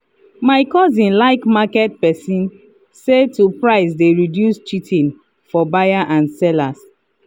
my cousin like market passen say to price dey reduce cheating for buyer and seller.